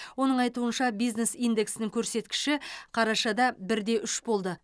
оның айтуынша бизнес индексінің көрсеткіші қарашада бір де үш болды